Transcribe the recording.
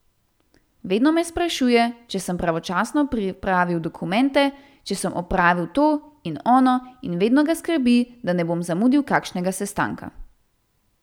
Vedno me sprašuje, če sem pravočasno pripravil dokumente, če sem opravil to in ono in vedno ga skrbi, da ne bom zamudil kakšnega sestanka.